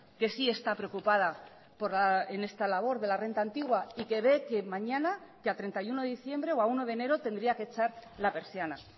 que sí está preocupada en esta labor de la renta antigua y que ve que mañana que a treinta y uno de diciembre o a uno de enero tendría que echar la persiana